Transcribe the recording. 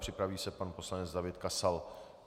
Připraví se pan poslanec David Kasal.